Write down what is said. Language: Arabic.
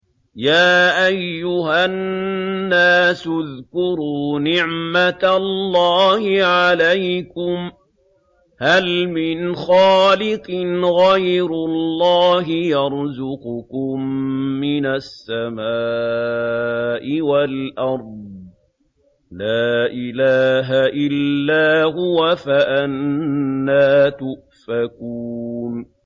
يَا أَيُّهَا النَّاسُ اذْكُرُوا نِعْمَتَ اللَّهِ عَلَيْكُمْ ۚ هَلْ مِنْ خَالِقٍ غَيْرُ اللَّهِ يَرْزُقُكُم مِّنَ السَّمَاءِ وَالْأَرْضِ ۚ لَا إِلَٰهَ إِلَّا هُوَ ۖ فَأَنَّىٰ تُؤْفَكُونَ